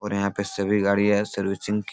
और यहाँ पे सभी गाड़ियाँ सर्विसिंग की --